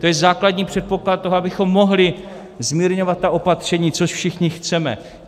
To je základní předpoklad toho, abychom mohli zmírňovat ta opatření, což všichni chceme.